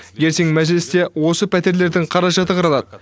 ертең мәжілісте осы пәтерлердің қаражаты қаралады